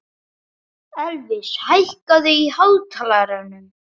Elvis, hækkaðu í hátalaranum.